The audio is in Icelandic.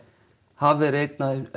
hafa verið einn af þeim